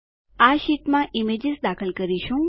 આ શીટ્સમાં ઈમેજીશ દાખલ કરીશું